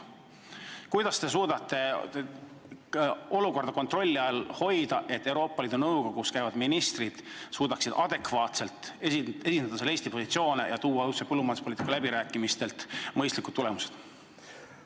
Kuidas te suudate olukorda kontrolli all hoida ja tagada, et Euroopa Liidu Nõukogus käivad ministrid suudavad seal Eesti positsioone adekvaatselt esindada ja saavutada ühise põllumajanduspoliitika läbirääkimistel mõistlikud tulemused?